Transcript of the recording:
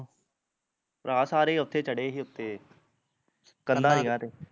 ਭਰਾ ਸਾਰੇ ਓਥੇ ਚੜੇ ਹੀ ਉੱਤੇ ਕੰਧਾਂ ਜਹੀਆ ਤੇ